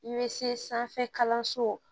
I bɛ se sanfɛ kalanso